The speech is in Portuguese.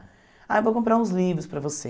Ah, eu vou comprar uns livros para você.